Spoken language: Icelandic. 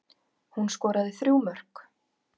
Hún skoraði þrjú mörk